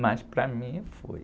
Mas para mim foi.